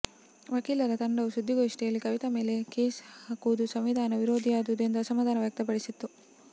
ವಕೀಲರ ತಂಡವು ಸುದ್ದಿಗೋಷ್ಠಿಯಲ್ಲಿ ಕವಿತೆಯ ಮೇಲೆ ಕೇಸ್ ಹಾಕುವುದು ಸಂವಿಧಾನ ವಿರೋಧಿಯಾದುದು ಎಂದು ಅಸಮಾಧಾನ ವ್ಯಕ್ತಪಡಿಸಿತ್ತು